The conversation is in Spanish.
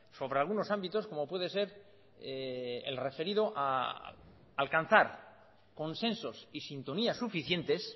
sobre algunos ámbitos como puede ser el referido a alcanzar consensos y sintonías suficientes